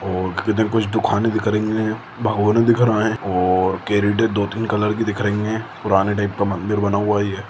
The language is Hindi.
और इधर कुछ दुकाने देख रही है भगवाने दिख रहे है और दो-तीन कलर कि दिख रही है पुराने टाइप का मंदिर बना हुआ है।